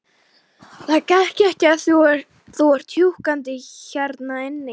Það gengur ekki að þú sért húkandi hérna inni.